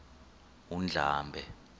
undlambe